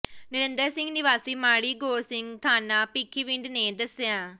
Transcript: ਨਰਿੰਦਰ ਸਿੰਘ ਨਿਵਾਸੀ ਮਾੜੀ ਗੋੜ ਸਿੰਘ ਥਾਣਾ ਭਿੱਖੀਵਿੰਡ ਨੇ ਦੱਸਿਆ